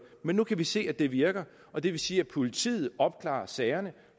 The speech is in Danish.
men nu kan vi se at det virker og det vil sige at politiet opklarer sagerne